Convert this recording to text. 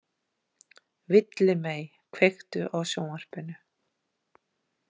Villimey, kveiktu á sjónvarpinu.